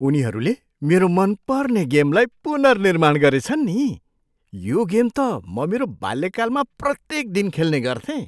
उनीहरूले मेरो मनपर्ने गेमलाई पुनर्निर्माण गरेछन् नि। यो गेम त म मेरो बाल्यकालमा प्रत्येक दिन खेल्ने गर्थेँ।